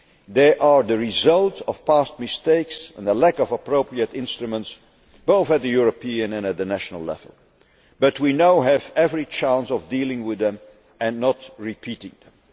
They are the result of past mistakes and a lack of appropriate instruments both at the European and at the national level. But we now have every chance of dealing with them and not repeating them.